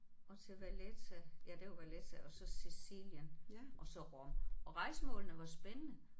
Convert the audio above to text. Og til Valletta ja det var Valletta og så Sicilien og så Rom og rejsemålene var spændende